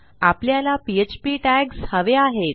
आपल्याला PHP tags हवे आहेत